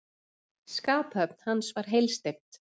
Skaphöfn hans var heilsteypt.